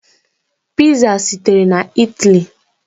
Piza sitere na Italy.